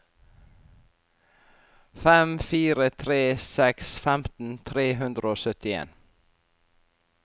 fem fire tre seks femten tre hundre og syttien